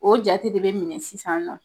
O jate de be minɛ sisan nɔ